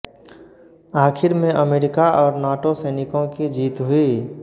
आखिर में अमेरिका और नाटो सैनिकों की जीत हुई